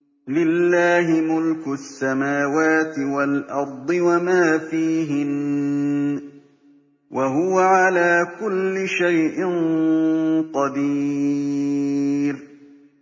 لِلَّهِ مُلْكُ السَّمَاوَاتِ وَالْأَرْضِ وَمَا فِيهِنَّ ۚ وَهُوَ عَلَىٰ كُلِّ شَيْءٍ قَدِيرٌ